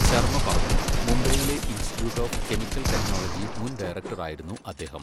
ശർമ പറഞ്ഞു, മുംബൈയിലെ institute of chemical technology മുൻ ഡയറക്ടർ ആയിരുന്നു അദ്ദേഹം.